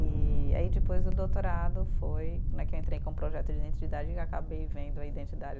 E aí depois o doutorado foi né, que eu entrei com um projeto de identidade e acabei vendo a identidade